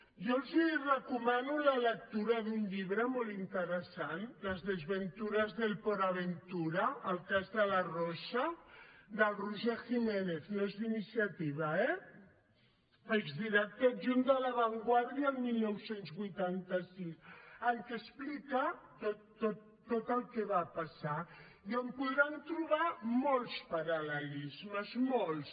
jo els recomano la lectura d’un llibre molt interessant las desventuras del port aventura el cas de la rosa del roger jiménez no és d’iniciativa eh exdirector adjunt de la vanguardia el dinou vuitanta sis en què explica tot el que va passar i on podran trobar molts paralmolts